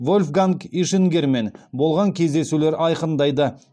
вольфганг ишингермен болған кездесулер айқындайды